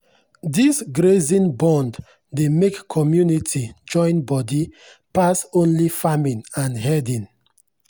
this grazing bond dey make community join body pass only farming and herding.